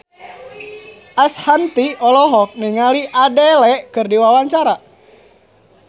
Ashanti olohok ningali Adele keur diwawancara